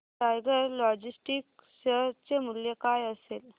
tiger logistics share चे मूल्य काय असेल